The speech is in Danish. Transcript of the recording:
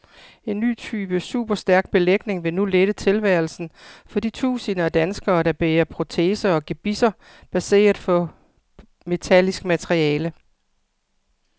En ny type superstærk belægning vil nu lette tilværelsen for de tusinder af danskere, der bærer proteser og gebisser baseret på metallisk materiale.